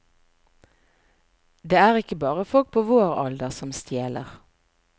Det er ikke bare folk på vår alder som stjeler.